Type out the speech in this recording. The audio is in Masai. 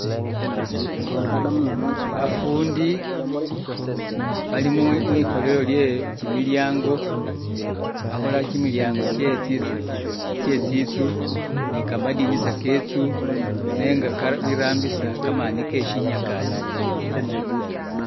Bafundi bali mwikholele lyekimilyango bakhola kimilyango kyetsinzu ni kamadinisa ke nzu nenga Ka birambisa kamani ke sinyakasi